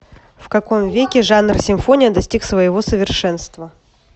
в каком веке жанр симфония достиг своего совершенства